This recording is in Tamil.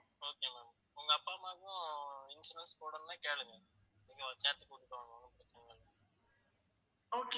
okay ma'am உங்க அப்பா அம்மாவுக்கும் insurance போடணும்னா கேளுங்க நீங்க கேட்டு கூப்டுட்டு வாங்க ஒண்ணு பிரச்சனை இல்ல